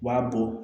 U b'a bɔ